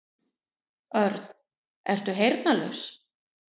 Örn, ertu heyrnarlaus?